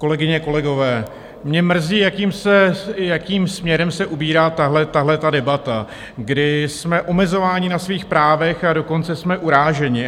Kolegyně, kolegové, mě mrzí, jakým směrem se ubírá tahleta debata, kdy jsme omezováni na svých právech, a dokonce jsme uráženi.